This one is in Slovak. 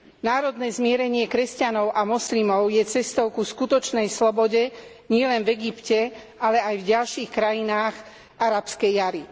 Národné zmierenie kresťanov a moslimov je cestou ku skutočnej slobode nielen v Egypte, ale aj v ďalších krajinách Arabskej jari.